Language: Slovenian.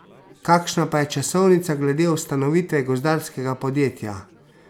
Kakšna pa je časovnica glede ustanovitve gozdarskega podjetja?